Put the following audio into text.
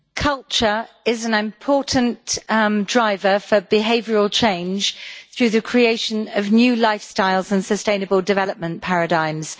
Mr President, culture is an important driver for behavioural change through the creation of new lifestyles and sustainable development paradigms.